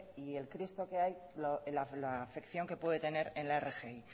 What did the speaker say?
y el cristo que hay en la afección que puede tener en la rgi